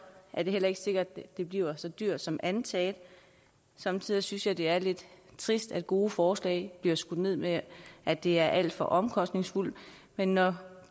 er det heller ikke sikkert det bliver så dyrt som antaget somme tider synes jeg det er lidt trist at gode forslag bliver skudt ned med at det er alt for omkostningsfuldt men når